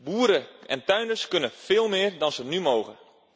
Boeren en tuinders kunnen veel meer dan ze nu mogen.